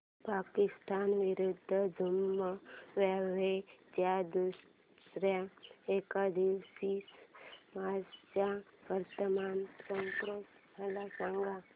पाकिस्तान विरुद्ध झिम्बाब्वे च्या दुसर्या एकदिवसीय मॅच चा वर्तमान स्कोर मला सांगा